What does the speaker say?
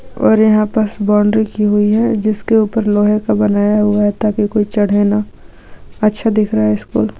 और यहाँ पास बाउंड्री की हुई है जिसके ऊपर लोहे का बनाया हुआ था कि कोई चढेना। अच्छा दिख रहा है स्कूल ।